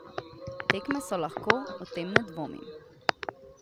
Tekme so lahko, o tem ne dvomim.